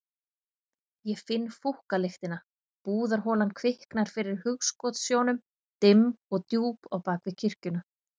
Ég finn fúkkalyktina, búðarholan kviknar fyrir hugskotssjónum, dimm og djúp á bak við kirkjuna.